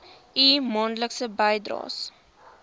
u maandelikse bydraes